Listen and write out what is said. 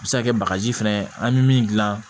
A bɛ se ka kɛ bagaji fɛnɛ ye an bɛ min dilan